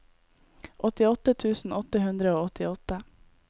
åttiåtte tusen åtte hundre og åttiåtte